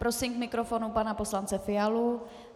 Prosím k mikrofonu pana poslance Fialu.